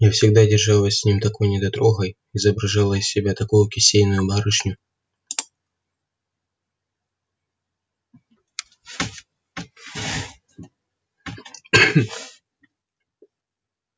я всегда держалась с ним такой недотрогой изображала из себя такую кисейную барышню